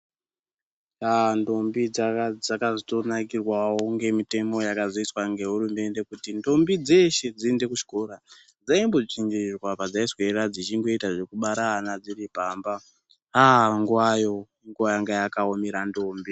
Ndombi dzaka dzaka zoto nakirwawo nge mitemo yakazo iswa nge hurumende kuti ndombi dzeshe dzi ende ku chikora dzaimbo dzvinyirirwa padzai swera dzichingoita zveku bara ana dziri pamba nguvayo nguva yanga yaka omera ndombi.